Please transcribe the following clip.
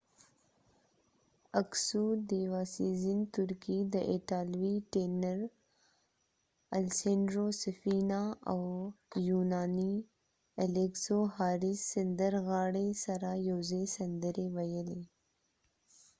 ترکې ديوا سیزن diva sezen اکسو aksu د ایټالوي ټینر الیسینډرو سفینا italian tenor safina او یونانی سندرغاړی حارس الیګزو haris alexiou سره یو ځای سندرې وويلی